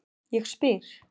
Ég spyr